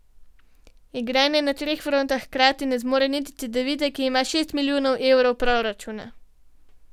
Igranja na treh frontah hkrati ne zmore niti Cedevita, ki ima šest milijonov evrov proračuna.